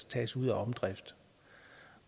tages ud af omdrift